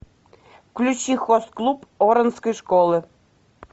включи хост клуб оранской школы